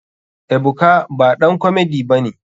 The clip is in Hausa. Ebuka baɗan komedi bane.